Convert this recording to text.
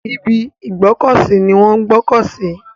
Ibi ìgbọ́kọ̀ sí ni wọ́n ń gbọ́kọ̀ sí.